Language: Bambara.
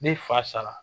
Ne fa sara